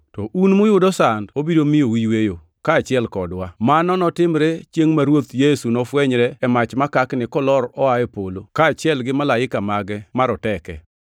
to un muyudo sand obiro miyou yweyo, kaachiel kodwa. Mano notimre chiengʼ ma Ruoth Yesu nofwenyre e mach makakni kolor oa e polo, kaachiel gi malaika mage maroteke.